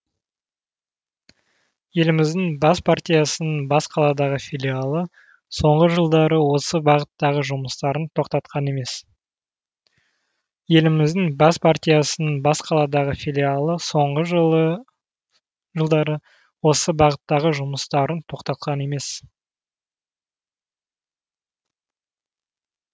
еліміздің бас партиясының бас қаладағы филиалы соңғы жылдары осы бағыттағы жұмыстарын тоқтатқан емес